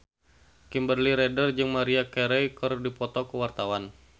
Kimberly Ryder jeung Maria Carey keur dipoto ku wartawan